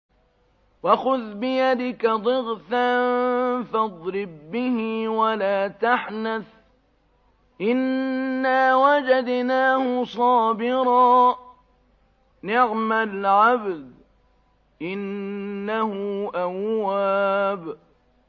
وَخُذْ بِيَدِكَ ضِغْثًا فَاضْرِب بِّهِ وَلَا تَحْنَثْ ۗ إِنَّا وَجَدْنَاهُ صَابِرًا ۚ نِّعْمَ الْعَبْدُ ۖ إِنَّهُ أَوَّابٌ